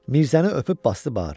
Mirzəni öpüb basdı bağrına.